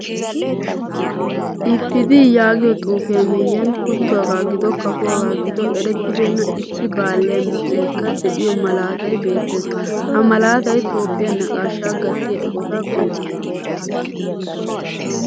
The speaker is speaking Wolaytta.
IPDi yaagiyaa xuufiyaa miyiyan kuttuwaga gido kafuwaga gido erettibena issi baalliyaa misilekka de'iyo malaataay beettees. Ha malaatay toophphiyaa naaqqashsha gaatiyaa eqqotta qonccissees.